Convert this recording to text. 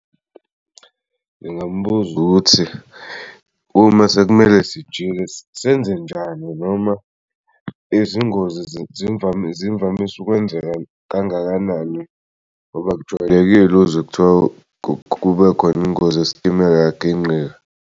Ngingambuz'ukuthi uma sekumele sijike senze njani noma izingozi zimvamise ukwenzeka kangakanani ngoba akujwayelekile uzwe kuthiwa kubekhona ingozi yesitimela yaginqika.